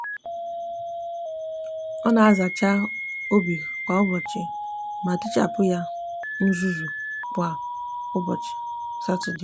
o n'azacha obi kwa ubochi ma tichapu ya uzuzu n'ubochi satode.